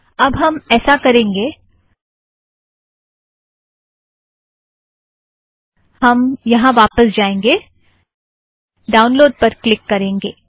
अब हम ऐसा करेंगें हम यहाँ वापस जाएंगे ड़ाउनलोड़ पर क्लिक करेंगें